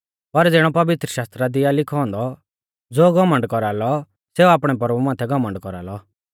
पर ज़िणौ पवित्रशास्त्रा दी आ लिखौ औन्दौ ज़ो घमण्ड कौरालौ सेऊ आपणै प्रभु माथै घमण्ड कौरालौ